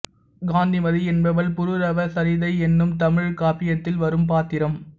காந்திமதி என்பவள் புரூரவ சரிதை என்னும் தமிழ்க் காப்பியத்தில் வரும் பாத்திரம்